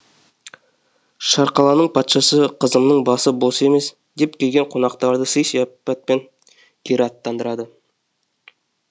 шарқаланың патшасы қызымның басы бос емес деп келген қонақтарды сый сияпатпен кері аттандырады